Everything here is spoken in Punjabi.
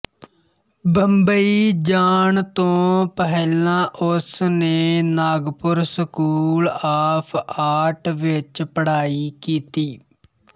ਬੰਬਈ ਜਾਣ ਤੋਂ ਪਹਿਲਾਂ ਉਸ ਨੇ ਨਾਗਪੁਰ ਸਕੂਲ ਆਫ ਆਰਟ ਵਿੱਚ ਪੜ੍ਹਾਈ ਕੀਤੀ